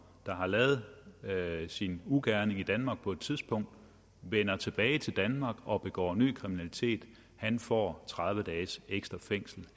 der har lavet sin ugerning i danmark på et tidspunkt vender tilbage til danmark og begår ny kriminalitet får tredive dages ekstra fængsel